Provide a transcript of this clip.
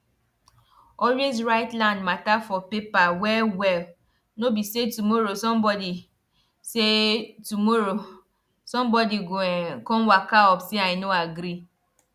always write land matter for paper well well no be say tomorrow somebody say tomorrow somebody go um come waka up say i no agree